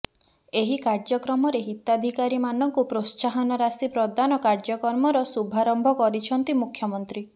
ଏହି କାର୍ଯ୍ୟକ୍ରମରେ ହିତାଧିକାରୀମାନଙ୍କୁ ପ୍ରୋତ୍ସାହନ ରାଶି ପ୍ରଦାନ କାର୍ଯ୍ୟକ୍ରମର ଶୁଭାରମ୍ଭ କରିଛନ୍ତି ମୁଖ୍ୟମନ୍ତ୍ରୀ